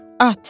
At.